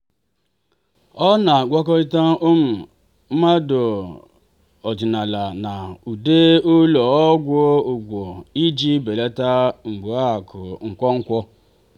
ọ na-agwakọta um mmanụ ọdịnala na ude ụlọ ọgwụ ọgwụ iji belata mgbuaka nkwonkwo.